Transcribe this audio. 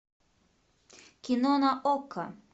кино на окко